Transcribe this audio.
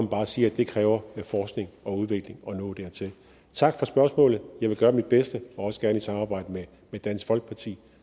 bare sige at det kræver forskning og udvikling at nå dertil tak for spørgsmålet jeg vil gøre mit bedste og også gerne i samarbejde med dansk folkeparti